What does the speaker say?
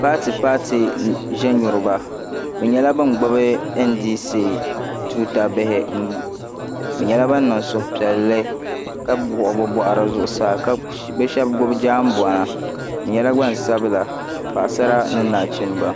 Paati paati ʒɛnyuriba bɛ nyɛla bin gbibi ndc tuuta bihi bɛ nyɛla ban niŋ suhu piɛlli ka wuɣi bɛ boɣari zuɣusaa bɛ sheba gbibi jaanbona bɛ nyɛla gbansabla Paɣasara ni nachimba.